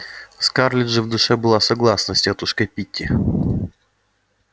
скарлетт же в душе была согласна с тётушкой питти